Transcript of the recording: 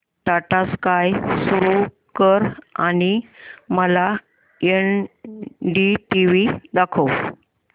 Tata sky सुरू कर आणि मला एनडीटीव्ही दाखव